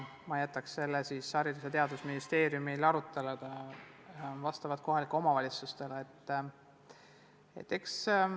Ma jätaks selle siiski Haridus- ja Teadusministeeriumi ning konkreetsete kohalike omavalitsuste arutelude teemaks.